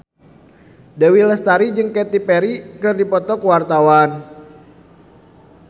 Dewi Lestari jeung Katy Perry keur dipoto ku wartawan